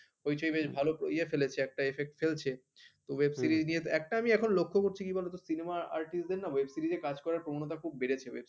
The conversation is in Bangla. হইচই বেশ একটা ভালো ইয়ে ফেলেছে, একটা effect ফেলছে তো web series নিয়ে একটা আমি এখন লক্ষ্য করছি কি বলতো cinema artist দের না web series কাজ করার প্রবণতা খুব বেড়েছে